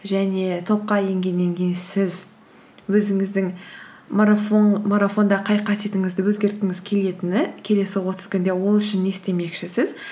және топқа енгеннен кейін сіз өзіңіздің марафонда қай қасиетіңізді өзгерткіңіз келетіні келесі отыз күнде ол үшін не істемекшісіз